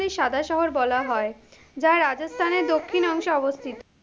সাদা শহর বলা হয়, যা রাজস্থানের দক্ষিণ অংশে অবস্থিত।